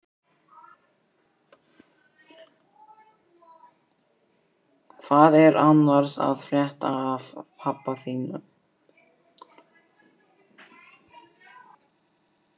Hvað er annars að frétta af pabba þínum?